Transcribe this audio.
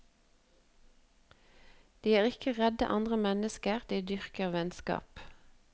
De er ikke redd andre mennesker, de dyrker vennskap.